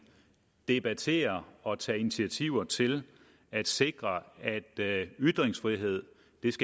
debatterer og tager initiativer til at sikre at at ytringsfrihed